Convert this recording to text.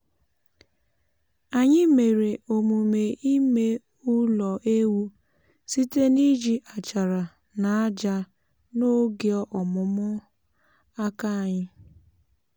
anyị mere omume ime ụlọ ewu site n’iji achara na ájá n’oge ọmụmụ aka anyị